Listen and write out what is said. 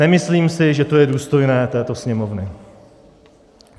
Nemyslím si, že to je důstojné této Sněmovny.